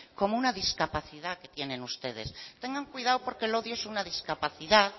como una discapacidad ustedes tengan cuidado porque el odio es una discapacidad